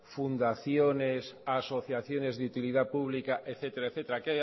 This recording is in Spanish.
fundaciones asociaciones de utilidad pública etcétera etcétera